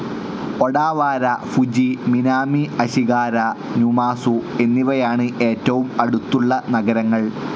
Odawara, Fuji, Minami Ashigara, Numazu എന്നിവയാണ് ഏറ്റവും അടുത്തുള്ള നഗരങ്ങൾ.